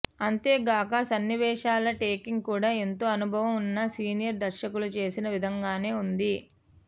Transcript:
అంతేగాక సన్నివేశాల టేకింగ్ కూడా ఎంతో అనుభవం ఉన్న సీనియర్ దర్శకులు చేసిన విధంగానే ఉంది